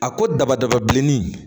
A ko daba daba bilenni